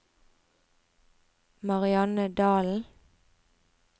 Marianne Dahlen